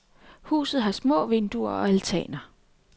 Huset har små vinduer og altaner.